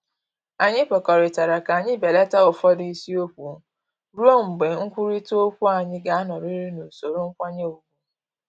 Anyị kwekọrịtara ka anyị belata ụfọdụ isiokwu ruo mgbe nkwurịta okwu anyị ga-anọrịrị n’usoro nkwanye ugwu